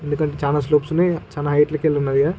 ఎందుకంటే చానా స్టెప్స్ ఉన్నాయి చాలా హైట్ లెక్క ఉన్నవి కదా.